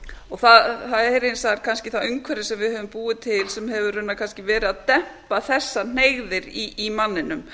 það er hins vegar kannski það umhverfi sem við höfum búið til sem hefur raunar kannski verið að dempa þessar hneigðir í manninum